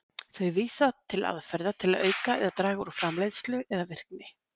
Þau vísa til aðferða til að auka eða draga úr framleiðslu eða virkni.